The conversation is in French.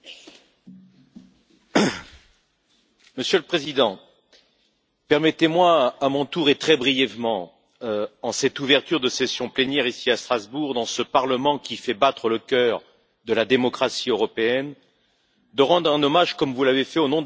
Monsieur le Président, permettez moi, à mon tour, et très brièvement, en cette ouverture de séance plénière, ici à Strasbourg, dans ce Parlement qui fait battre le cœur de la démocratie européenne, de rendre un hommage, comme vous l'avez fait, au nom de la délégation française du groupe PPE, que je préside,